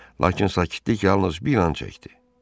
Lakin sakitlik yalnız bir an çəkdi.